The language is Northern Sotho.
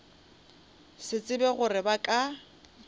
sa tsebe gore ba ka